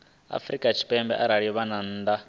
afrika tshipembe arali vha nnḓa